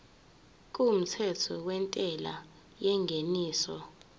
kumthetho wentela yengeniso